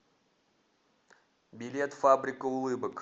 билет фабрика улыбок